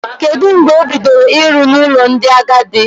Kedụ mgbe o bidoro ịrụ n'ụlọ ndị agadi?